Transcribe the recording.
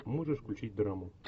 можешь включить драму